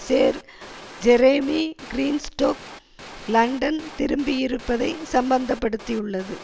சேர் Jeremy Greenstock London திரும்பியிருப்பதை சம்மந்தப்படுத்தியுள்ளது